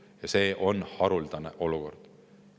Ja see on haruldane olukord.